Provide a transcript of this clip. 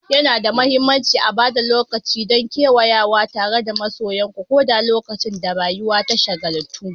Yana da mahimmanci a ba da lokaci don kewayawa tare da masoyanku, ko da lokacin da rayuwa ta shagaltu.